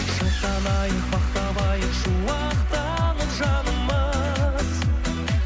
шаттанайық бақ табайық шуақтанып жанымыз